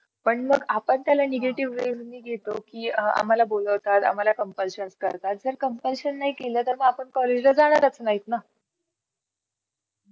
जर ती अ मैत्री सुटून गेली तर काही अर्थ नाही आणि ती पकडून ठेवली तर मग त्याच्याशिवाय कुठला मित्र नाय.